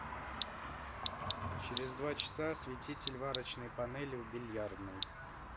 через два часа осветитель варочной панели в бильярдной